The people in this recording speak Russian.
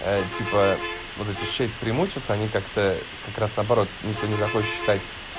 типа вот эти шесть преимуществ они как-то как раз наоборот никто не захочешь читать